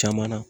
Caman na